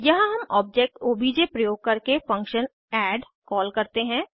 यहाँ हम object OBJ प्रयोग करके फंक्शन एड कॉल करते हैं